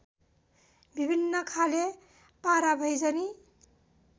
विभिन्न खाले पारावैजनी